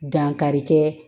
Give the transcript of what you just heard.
Dankari kɛ